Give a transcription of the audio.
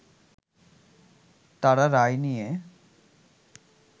তারা রায় নিয়ে